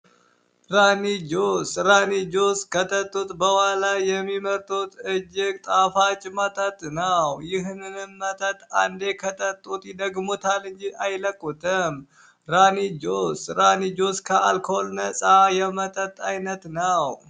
ራኒ ጁስ ራኒ ጁስ ከጠጡት በኋላ የሚመርጡት እጅግ ጣፋጭ መጠጥ ነው። ይህንንም መጠጥ አንዴ ከቀመሱት ይደግሙታል እንጂ አይለቁትም። ራኒ ጁስ ከአልኮል ነፃ የመጠጥ አይነት ነው።